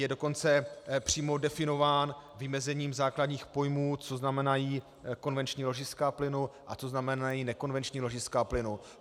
Je dokonce přímo definován vymezením základních pojmů, co znamenají konvenční ložiska plynu a co znamenají nekonvenční ložiska plynu.